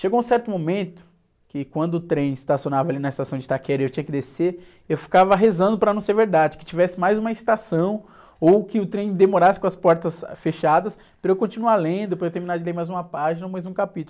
Chegou um certo momento que quando o trem estacionava ali na estação de Itaquera e eu tinha que descer, eu ficava rezando para não ser verdade, que tivesse mais uma estação ou que o trem demorasse com as portas fechadas para eu continuar lendo, para eu terminar de ler mais uma página ou mais um capítulo.